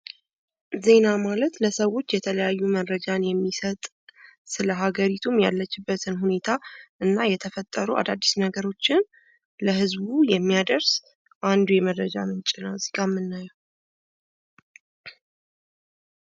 በምስሉ ላይ የምናየው የዜና አገልግሎትን ሲሆን ይኸውም ለሰወች አዳዲስ መረጃወችን የሚሰጥና አጠቃላይ ስለሃገሪቱ ሁኔታ የሚገልጽ እንዲሁም የተፈጠሩ አዳዲስ ነገሮችን ለህዝቡ የሚያደርስ የመረጃ ምንጭ ነው።